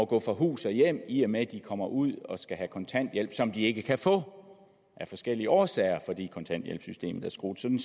gå fra hus og hjem i og med at de kommer ud og skal have kontanthjælp som de ikke kan få af forskellige årsager fordi kontanthjælpssystemet er skruet sådan